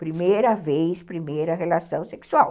Primeira vez, primeira relação sexual.